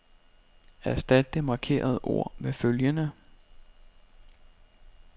Erstat det markerede ord med følgende.